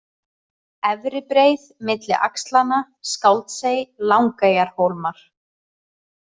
Efri-Breið, Milli axlanna, Skáldsey, Langeyjahólmar